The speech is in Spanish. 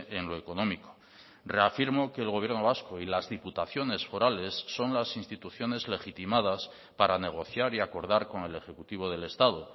en lo económico reafirmo que el gobierno vasco y las diputaciones forales son las instituciones legitimadas para negociar y acordar con el ejecutivo del estado